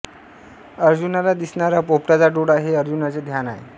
अर्जुनाला दिसणारा पोपटाचा डोळा हे अर्जुनाचे ध्यान आहे